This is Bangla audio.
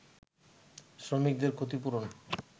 শ্রমিকদের ক্ষতিপূরণ